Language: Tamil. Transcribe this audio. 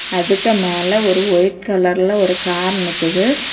அதுக்கு மேல ஒரு ஒயிட் கலர்ல ஒரு கார் நிக்குது.